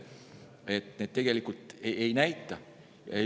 Nii et tegelikult need mõõdikud ei näita midagi.